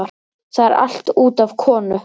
Það er allt út af konu.